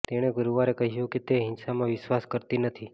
તેણે ગુરુવારે કહ્યું કે તે હિંસામાં વિશ્વાસ કરતી નથી